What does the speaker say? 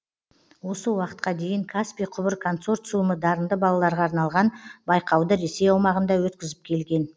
осы уақытқа дейін каспий құбыр консорциумы дарынды балаларға арналған байқауды ресей аумағында өткізіп келген